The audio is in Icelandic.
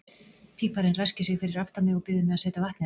Píparinn ræskir sig fyrir aftan mig og biður mig að setja vatnið á.